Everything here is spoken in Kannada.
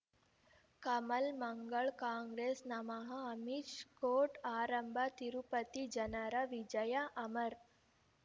ಕಮಲ್ ಮಂಗಳ್ ಕಾಂಗ್ರೆಸ್ ನಮಃ ಅಮಿಷ್ ಕೋರ್ಟ್ ಆರಂಭ ತಿರುಪತಿ ಜನರ ವಿಜಯ ಅಮರ್